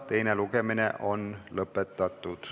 Teine lugemine on lõpetatud.